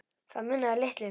Það munaði litlu.